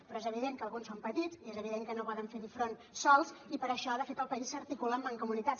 però és evident que alguns són petits i és evident que no poden fer hi front sols i per això de fet el país s’articula en mancomunitats